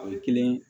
A bɛ kelen